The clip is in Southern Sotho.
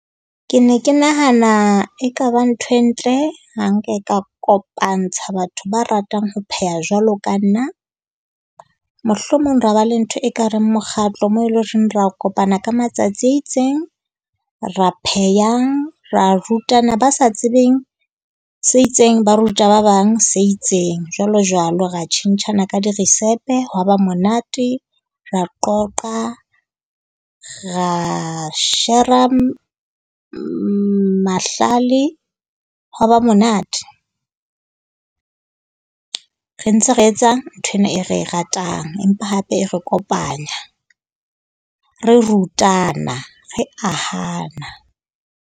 Ke ne ke nahana ekaba ntho e ntle ha re nka ka kopantsha batho ba ratang ho pheha jwalo ka nna. Mohlomong ra ba le ntho ekareng mokgatlo moo e leng hore re kopana ka matsatsi a itseng. Ra phehang, ra rutana. Ba sa tsebeng se itseng, ba ruta ba bang se itseng, jwalo jwalo. Ra tjhentjhana ka dirisepe. Hwa ba monate ra qoqa. Ra shera mahlale, hwa ba monate. Re ntse re etsa nthwena e re e ratang. Empa hape e re kopanya. Re rutana re ahana.